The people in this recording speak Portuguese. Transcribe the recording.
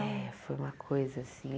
É, foi uma coisa assim.